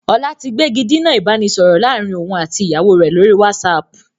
Ọlá tí gbégidinà ìbánisọọ̀rọ̀ láàrín òun àti ìyàwó rẹ lórí whatsapp.